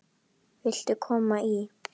Viltu koma í?